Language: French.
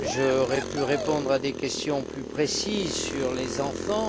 J'aurais pu répondre à des questions plus précises sur les enfants.